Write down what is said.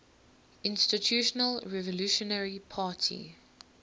institutional revolutionary party